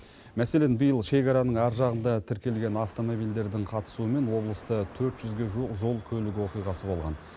мәселен биыл шекараның ар жағында тіркелген автомобильдердің қатысуымен облыста төрт жүзге жуық жол көлік оқиғасы болған